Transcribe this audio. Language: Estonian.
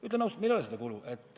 Ütlen ausalt, meil ei ole seda kulu.